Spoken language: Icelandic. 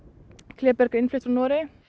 kléberg er innflutt frá Noregi